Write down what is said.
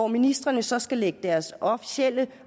ministrene så skal lægge deres officielle